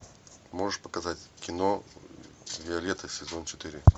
можешь показать кино виолетта сезон четыре